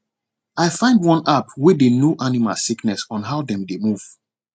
i find one app wey dey know animal sickness on how dem dey move